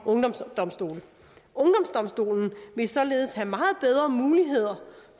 ungdomsdomstolen ungdomsdomstolen vil således have meget bedre muligheder